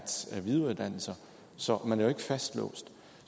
videreuddanne sig så man er ikke fastlåst